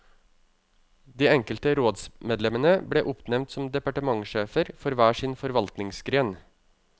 De enkelte rådsmedlemmene ble oppnevnt som departementssjefer for hver sin forvaltningsgren.